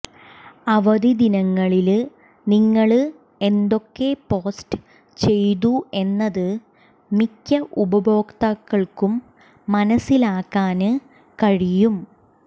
അവധിദിനങ്ങളില് നിങ്ങള് എന്തൊക്കെ പോസ്റ്റ് ചെയ്തു എന്നത് മിക്ക ഉപഭോക്താക്കള്ക്കും മനസിലാക്കാന് കഴിയും